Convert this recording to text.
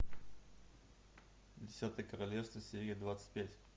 десятое королевство серия двадцать пять